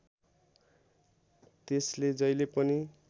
त्यसले जहिले पनि